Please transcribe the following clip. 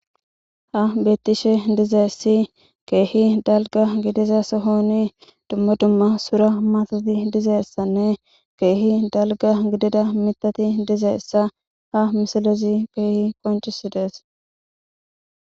Ha bettishe diizayssi kehi dalgga giidiza sohon dumma dumma suura maatati diizayssane kehi dalgga giddida miththati diizayssa ha missilezi kehi qonccisides.